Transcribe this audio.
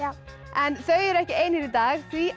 en þau eru ekki ein hér í dag því